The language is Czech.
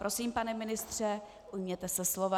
Prosím, pane ministře, ujměte se slova.